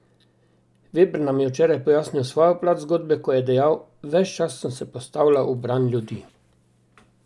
Veber nam je včeraj pojasnil svojo plat te zgodbe, ko je dejal: "Ves čas sem se postavljal v bran ljudi.